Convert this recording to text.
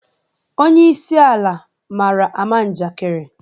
Onyeisi ala mara ama njakịrị